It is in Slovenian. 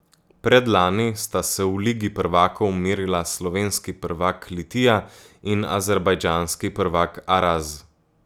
Predlani sta se v ligi prvakov merila slovenski prvak Litija in azerbajdžanski prvak Araz.